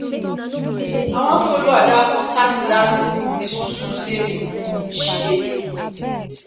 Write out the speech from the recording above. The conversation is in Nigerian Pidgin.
i wan follow adaku start dat isusu saving she dey do